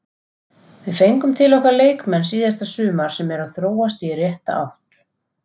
Við fengum til okkar leikmenn síðasta sumar sem eru að þróast í rétta átt.